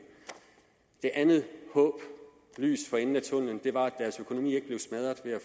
det andet håb lyset for enden af tunnellen var at deres økonomi ikke blev smadret ved at